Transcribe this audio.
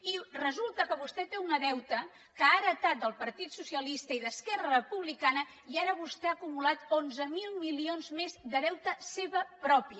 i resulta que vostè té un deute que ha heretat del partit socialista i d’esquerra republicana i ara vostè ha acumulat onze mil milions més de deute seu propi